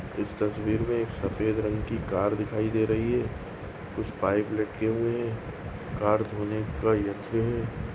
इस तस्वीर सफ़ेद रंग की कार दिखाई दे रही है कुछ पाइप लटके हुए है कार धोने का यंत्र है।